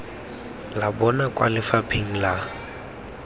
la bona kwa lefapheng la